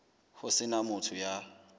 ho se na motho ya